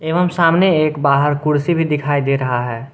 हम सामने एक बाहर कुर्सी भी दिखाई दे रहा है।